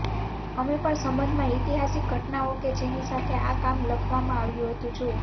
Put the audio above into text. અમે પણ સંબંધમાં ઐતિહાસિક ઘટનાઓ કે જેની સાથે આ કામ લખવામાં આવ્યું હતું જુઓ